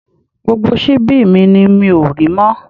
Gbogbo síbi mi ni mi ò rí mọ́